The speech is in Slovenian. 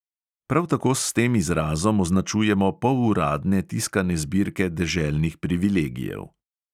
Prav tako s tem izrazom označujemo poluradne tiskane zbirke deželnih privilegijev.